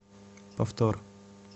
повтор